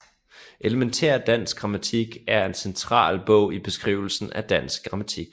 Elementær Dansk Grammatik er en central bog i beskrivelsen af dansk grammatik